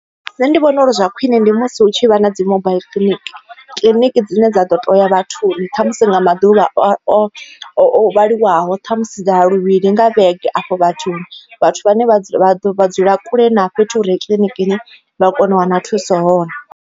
Nṋe ndi vhona uri zwa khwine ndi musi hu tshi vha na dzi mobaiḽi clinic kiḽiniki dzine dza ḓo to ya vhathuni kha musi nga maḓuvha o vhaliwaho ṱhamusi dza ya luvhili nga vhege afho vhathuni vhathu vhane vha vha vha dzula kule na fhethu hure kiḽinikini vha kone u wana thuso hone.